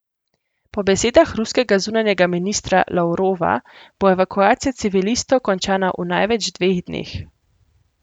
Po besedah ruskega zunanjega ministra Lavrova bo evakuacija civilistov končana v največ dveh dneh.